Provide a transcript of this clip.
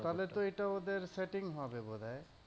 তাহলে তো এটা ওদের setting হবে।